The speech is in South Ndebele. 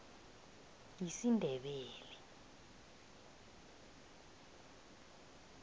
yisindebele